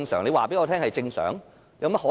你告訴我這是正常，怎麼可能？